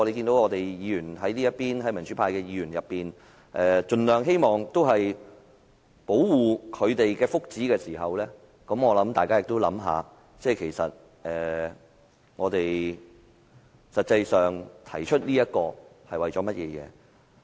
當大家看到民主派議員盡量希望保護他們的福祉時，我希望大家也想一想，我們為何要提出這項議題。